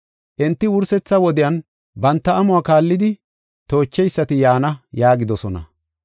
Enti, “Wursetha wodiyan, banta amuwa kaallidi toocheysati yaana” yaagidosona.